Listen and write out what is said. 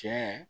Cɛ